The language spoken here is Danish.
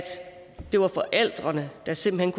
det var forældrene der simpelt